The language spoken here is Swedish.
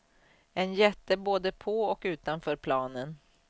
En jätte både på och utanför planen.